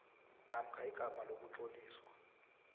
namkha igama lokutloliswa